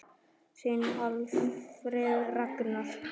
Þinn Alfreð Ragnar.